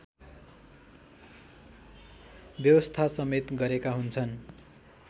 व्यवस्थासमेत गरेका हुन्छन्